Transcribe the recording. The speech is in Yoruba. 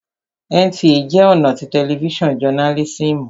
NTA jẹ́ ọ̀nà tí tẹlifísàn jọnálísìmù